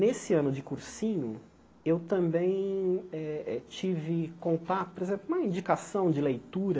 Nesse ano de cursinho, eu também eh tive contato, por exemplo, com uma indicação de leitura